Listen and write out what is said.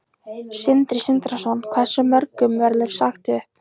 Sindri Sindrason: Hversu mörgum verður sagt upp?